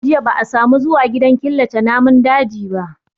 Watan jiya ba a samu zuwa gidan killace namun dajin ba